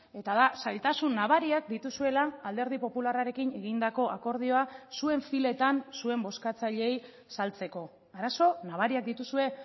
eta da zailtasun nabariak dituzuela alderdi popularrarekin egindako akordioa zuen filetan zuen bozkatzaileei saltzeko arazo nabariak dituzue